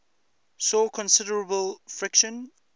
saw considerable friction